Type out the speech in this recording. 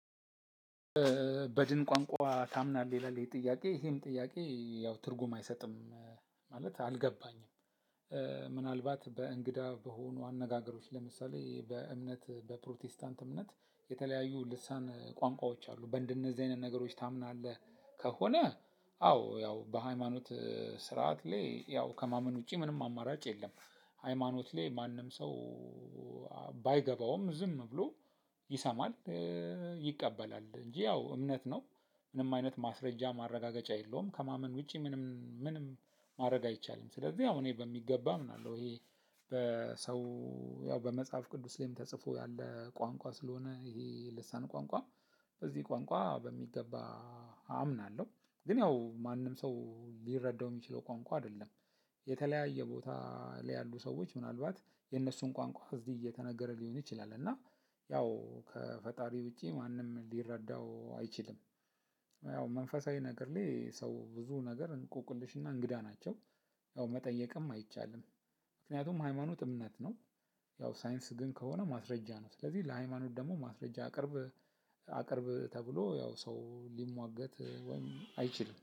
በድን ቋንቋ ታምናለህ? ይላል ይሄ ጥያቄ ይሄ ጥያቄ ያው ትርጉም አይሰጥም ማለት አልገባኝም። ምናልባት በእንግዳ በሆኑ አነጋገሮች ለምሳሌ በእምነት በፕሮቴስታንት እምነት የተለያዩ ልሳን ቋንቋዎች አሉ በነዚህ አይነት ነገሮች ታምናለህ? ከሆነ አዎ ያው በሀይማኖት ስርዓት ላይ ያው ከማመን ውጪ ምንም አማራጭ የለም። ሃይማኖት ላይ ማንም ሰው ባይገባውም ዝም ብሎ ይሰማል ይቀበላል እንጂ ያው እምነት ነው። ምንም አይነት ማስረጃ ማረጋገጫ የለውም ከማመን ውጪ ምንም ምንም ማድረግ አይቻልም። ስለዚህ ያው እኔ በሚገባ አምናለው። ሰው በመጽሀፍ ቅዱስም ላይ ተጽፎ ያለ ቋንቋ ስለሆነ የልሳን ቋንቋ በዚህ ቋንቋ በሚገባ አምናለሁ። ግን ያው ማንም ሰው ሊረዳው የሚችለው ቋንቋ አይደለም። የተለያየ ቦታ ላይ ያሉ ሰዎች ምናልባት የነሱ ቋንቋ እዚህ የተነገረ ሊሆን ይችላል እና ያው ከፈጣሪ ውጪ ማንም ሊረዳው አይችልም። ያው መንፈሳዊ ነገር ላይ ሰው ብዙ ነገር እንቆቅልሽና እንግዳ ናቸው። ያው መጠየቅም አይቻልም። ምክንያቱም ሃይማኖት እምነት ነው። ያው ሳይንስ ግን ከሆነ ማስረጃ ነው ስለዚህ ለሃይማኖት ደግሞ ማስረጃ አቅርብ አቅርብ ተብሎ ያው ሰው ሊሟገት ወይም አይችልም